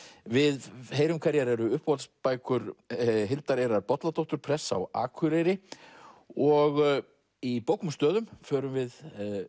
við heyrum hverjar eru Hildar Eirar Bolladóttur prests á Akureyri og í bókum og stöðum förum við